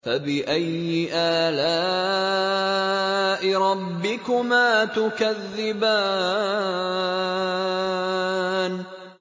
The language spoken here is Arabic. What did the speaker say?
فَبِأَيِّ آلَاءِ رَبِّكُمَا تُكَذِّبَانِ